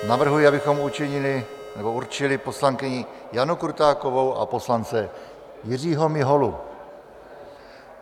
Navrhuji, abychom určili poslankyni Janu Krutákovou a poslance Jiřího Miholu.